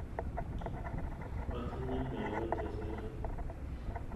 Atinye nego che sere.